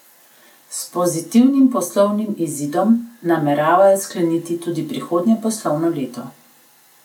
S pozitivnim poslovnim izidom nameravajo skleniti tudi prihodnje poslovno leto.